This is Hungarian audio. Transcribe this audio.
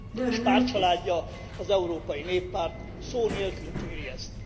És pártcsaládja, az Európai Néppárt szó nélkül tűri ezt.